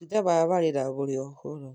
matunda maya marĩ na mũrĩo mũno